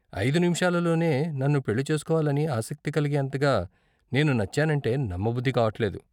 ఐదు నిముషాలలోనే నన్ను పెళ్లి చేస్కోవాలని ఆసక్తి కలిగేంతగా నేను నచ్చానంటే నమ్మబుద్ధి కావట్లేదు.